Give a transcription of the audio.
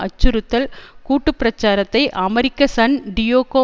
அச்சுறுத்தல் கூட்டு பிரச்சாரத்தை அமெரிக்க சன் டியோகோ